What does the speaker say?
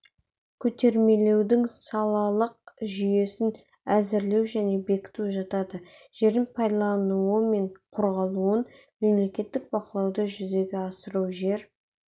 көтермелеудің салалық жүйесін әзірлеу және бекіту жатады жердің пайдаланылуы мен қорғалуын мемлекеттік бақылауды жүзеге асыру жер